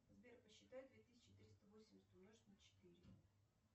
сбер посчитай две тысячи триста восемьдесят умножить на четыре